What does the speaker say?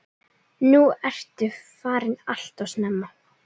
Nú ertu farin alltof snemma.